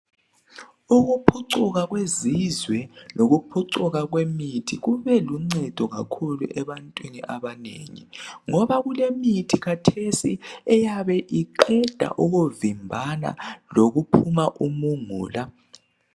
Ukuphucuka kwezizwe lokuphucuka kwemithi kube luncedo kakhulu ebantwini abanengi ngoba kulemithi kathesi eyabe iqeda ukuvimbana lokuphuma umungula.